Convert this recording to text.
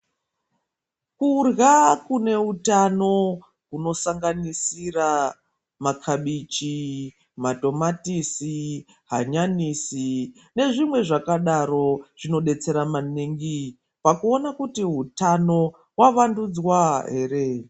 Kurya kune utano kunosanganisira makabichi, matomatisi, hanyanisi nezvimwe zvakadaro zvinobetsera maningi pakuona kuti hutano hwavandudzwa here.